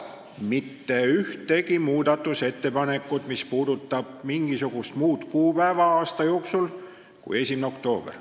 Ei ole aga mitte ühtegi muudatusettepanekut, mis puudutaks mingisugust muud kuupäeva aasta jooksul kui 1. oktoober.